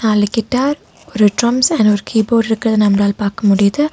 நாலு கிட்டார் ஒரு drums and ஒரு கீபோர்டுருக்கறத நம்மளால பாக்க முடியுது.